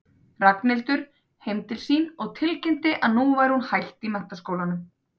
Ragnhildur heim til sín og tilkynnti að nú væri hún hætt í menntaskólanum.